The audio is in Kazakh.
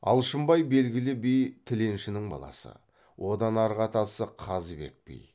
алшынбай белгілі би тіленшінің баласы одан арғы атасы қазыбек би